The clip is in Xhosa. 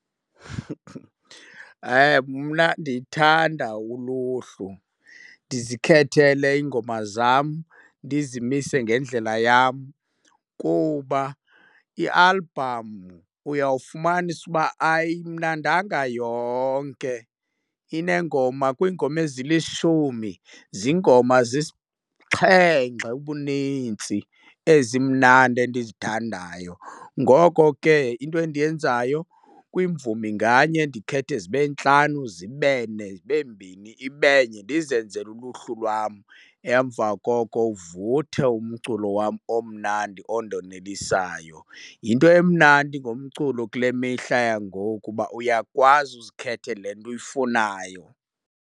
Mna ndithanda uluhlu ndizikhethele iingoma zam, ndizimise ngendlela yam. Kuba ialbhamu uyawufumanisa uba ayimnandanga yonke, ineengoma kwiingoma ezilishumi ziingoma zisixhenxe ubunintsi ezimnandi endizithandayo. Ngoko ke into endiyenzayo kwimvumi nganye ndikhethe zibe ntlanu, zibe ne, zibe mbini, ibe nye, ndizenzele uluhlu lwam, emva koko uvuthe umculo wam omnandi ondonelisayo. Yinto emnandi ngomculo kule mihla yangoku kuba uyakwazi uzikhethe le nto uyifunayo.